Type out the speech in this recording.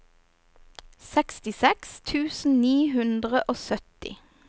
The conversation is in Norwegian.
sekstiseks tusen ni hundre og sytti